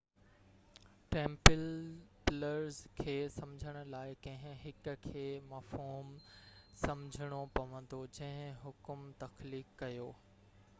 Templars کي سمجهڻ لاءِ ڪنهن هڪ کي مفهوم سمجهڻو پوندو جنهن حڪم تخليق ڪيو